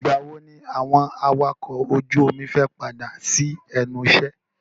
Ìgbà wo ni àwọn awakọ̀ ojú omi fẹ́ padà sí ẹnu iṣẹ́?